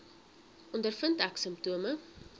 ondervind ek simptome